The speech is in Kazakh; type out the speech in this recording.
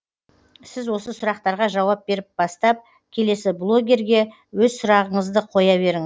сіз осы сұрақтарға жауап беріп бастап келесі блогерге өз сұрағыңызды қоя беріңіз